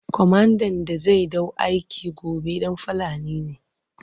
Komandan da zai ɗau aiki gobe ɗan Fulani ne.